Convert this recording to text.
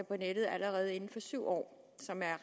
på nettet allerede inden for syv år